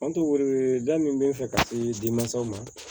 An to wele da min bɛ n fɛ ka se denmansaw ma